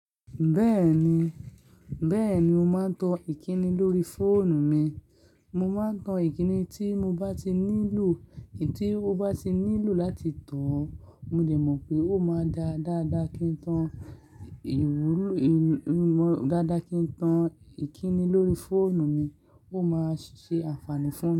Bẹ́ẹ̀ni, bẹ́ẹ̀ni mo máa ń tan ìkíni lórí fóònù mi. Mo máa ń tan ìkíni tí mo bá ti nílò, èyí tí mo bá ti nílò láti tàn. Mo dẹ̀ mọ̀ pé ó máa dá dáadáa kí n tan ìwú-ì-mọ́, dáadáa kí n tan ìkíni lórí fóònù mi, ó máa ṣe àǹfààní fún mí.